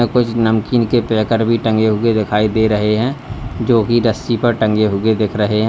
कुछ नमकीन के पैकट भी टंगे हुए दिखाई दे रहे हैं जो की रस्सी पर टंगे हुए देख रहे हैं।